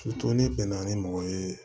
ne bɛn na ni mɔgɔ ye